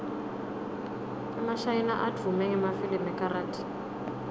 emashayina advume ngemafilimu ekarathi